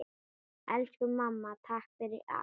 Elsku mamma. takk fyrir allt.